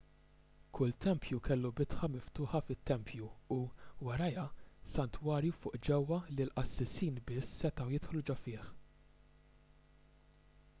kull tempju kellu bitħa miftuħa fit-tempju u warajha santwarju fuq ġewwa li l-qassisin biss setgħu jidħlu ġo fih